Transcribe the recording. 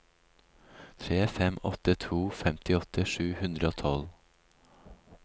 tre fem åtte to femtiåtte sju hundre og tolv